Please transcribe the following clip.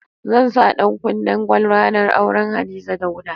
Zan sa ɗankunnen gwal ranar auren Hadiza Dauda.